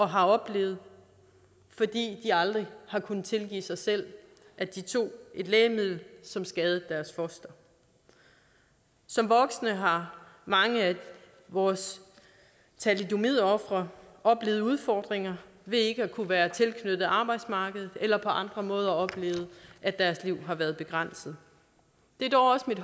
har oplevet fordi de aldrig har kunnet tilgive sig selv at de tog et lægemiddel som skadede deres foster som voksne har mange af vores thalidomidofre oplevet udfordringer ved ikke at kunne være tilknyttet arbejdsmarkedet eller på andre måder oplevet at deres liv har været begrænset det er dog også mit